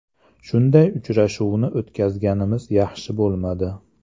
Shunday uchrashuvni yutqazganimiz yaxshi bo‘lmadi.